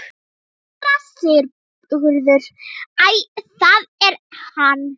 SÉRA SIGURÐUR: Æ, það er hann!